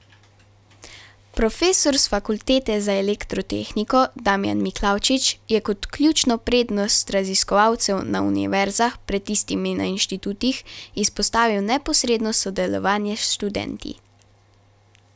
Profesor s fakultete za elektrotehniko, Damjan Miklavčič, je kot ključno prednost raziskovalcev na univerzah pred tistimi na inštitutih izpostavil neposredno sodelovanje s študenti.